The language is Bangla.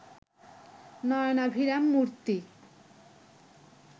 নয়নাভিরাম মূর্ত্তি